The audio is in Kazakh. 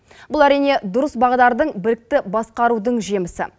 бұл әрине дұрыс бағдардың білікті басқарудың жемісі